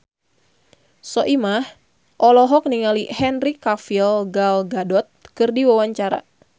Soimah olohok ningali Henry Cavill Gal Gadot keur diwawancara